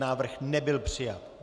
Návrh nebyl přijat.